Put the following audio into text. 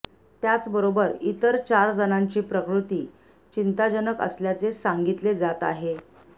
त्याचबरोबर इतर चार जणांची प्रकृती चिंताजनक असल्याचे सांगितले जात आहे